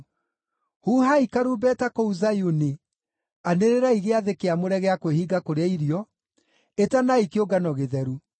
Huhai karumbeta kũu Zayuni, anĩrĩrai gĩathĩ kĩamũre gĩa kwĩhinga kũrĩa irio, ĩtanai kĩũngano gĩtheru.